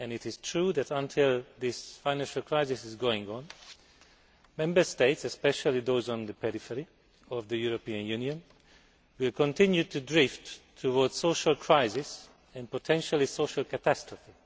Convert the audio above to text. It is true that, until this financial crisis is over, Member States especially those on the periphery of the European Union will continue to drift towards social crisis and potentially social catastrophe.